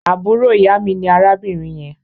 Àbúrò ìyá mi ní arábìnrin yẹn